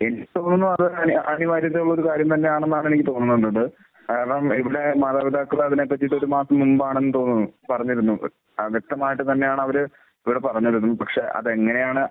എടുത്തു എന്ന് പറഞ്ഞ് കഴിഞ്ഞാൽ ഒരു കാര്യം തന്നെയാണെന്നാണ് എനിക്ക് തോന്നുന്നത്. കാരണം ഇവിടെ മാതാപിതാക്കൾ അതിനെ പറ്റിയിട്ട് ഒരു മാസം മുൻപാണെന്ന് തോന്നുന്നു പറഞ്ഞിരുന്നത്. ആ വ്യക്തമായിട്ട് തന്നെയാണ് അവർ ഇവിടെ പറഞ്ഞിരുന്നത്. പക്ഷെ അതെങ്ങനെയാണ്